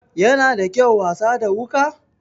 Yana da kyau wasa da wuka?